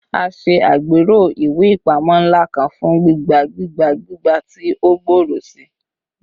A ṣe agbero iwe ipamọ nla kan fun gbigba gbigba gbigba ti o gbooro sii